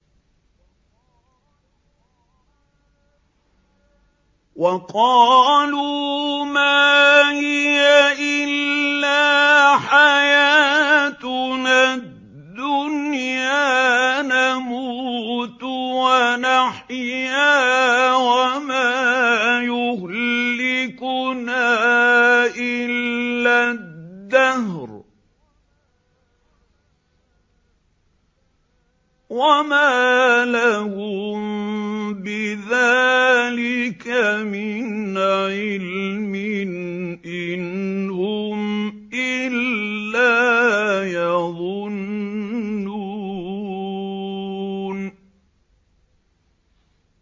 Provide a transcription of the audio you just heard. وَقَالُوا مَا هِيَ إِلَّا حَيَاتُنَا الدُّنْيَا نَمُوتُ وَنَحْيَا وَمَا يُهْلِكُنَا إِلَّا الدَّهْرُ ۚ وَمَا لَهُم بِذَٰلِكَ مِنْ عِلْمٍ ۖ إِنْ هُمْ إِلَّا يَظُنُّونَ